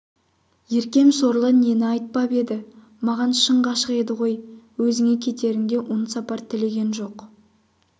еркем сорлы нені айтпап еді маған шын ғашық еді ғой өзіңе кетерінде оң сапар тілеген жоқ